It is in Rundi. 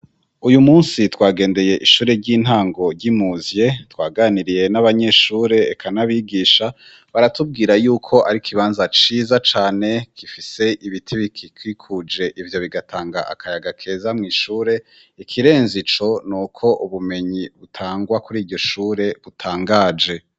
Uyu musi twagendeye ishure ry'intango ry'i Muzye twaganiriye n'abanyeshure eka n'abigisha baratubwira yuko ari ikibanza ciza cane gifise ibiti bigikikuje, ivyo bigatanga akayaga keza mw'ishure ikirenze ico n'uko ubumenyi butangwa kuri iryo shure butangaje.